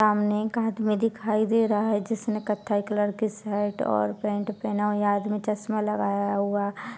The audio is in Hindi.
सामने एक आदमी दिखाई दे रहा है जिसने कत्थई कलर की शर्ट और पैंट पहना हुआ है| यह आदमी चश्मा लगाया हुआ--